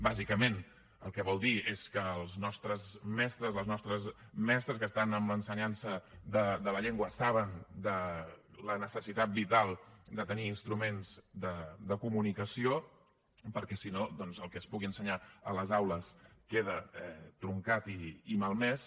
bàsicament el que vol dir és que els nostres mestres les nostres mestres que estan en l’ensenyança de la llengua saben de la necessitat vital de tenir instruments de comunicació perquè si no doncs el que es pugui ensenyar a les aules queda truncat i malmès